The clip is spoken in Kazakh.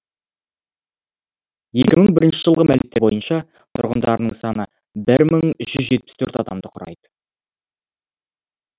екі мың бірінші жылғы мәліметтер бойынша тұрғындарының саны бір мың жүз жетпіс төрт адамды құрайды